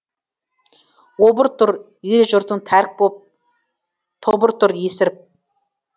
обыр тұр ел жұртың тәрк боп тобыр тұр есіріп